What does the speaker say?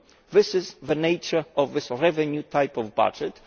This is the nature of this revenue type of budget